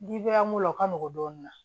Dibi an ko o ka nɔgɔn dɔɔnin na